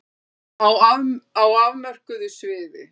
Á afmörkuðu sviði.